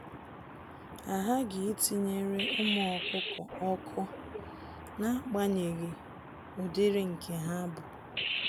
Ahaghị itinyere ụmụ ọkụkọ ọkụ, naagbanyeghi ụdịrị nke ha bụ.